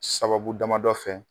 Sababu damadɔ fɛ